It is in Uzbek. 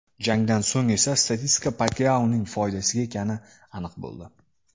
Jangdan so‘ng esa statistika Pakyaoning foydasiga ekani aniq bo‘ldi.